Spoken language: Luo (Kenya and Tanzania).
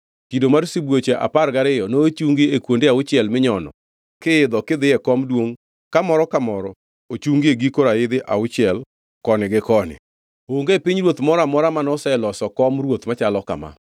Kido mar sibuoche apar gariyo nochungi e kuonde auchiel minyono kiidho kidhi e kom duongʼ ka moro ka moro ochungi e giko raidh auchiel koni gi koni. Onge pinyruoth moro amora manoseloso kom ruoth machalo kama.